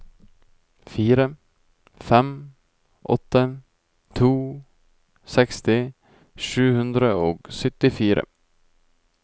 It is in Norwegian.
fire fem åtte to seksti sju hundre og syttifire